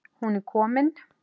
Hún er komin,